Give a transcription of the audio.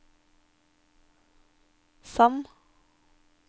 Sand